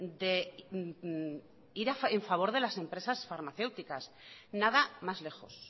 de ir en favor de las empresas farmacéuticas nada más lejos